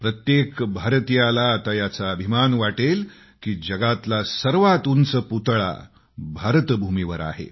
प्रत्येक भारतीयाला आता याचा अभिमान वाटेल की जगातला सर्वात उंच पुतळा भारतभूमीवर आहे